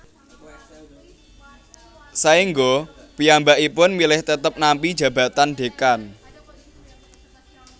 Saengga piyambakipun milih tetep nampi jabatan Dekan